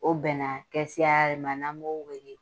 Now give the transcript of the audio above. O bɛn na kɛsiya de ma n'an b'o wele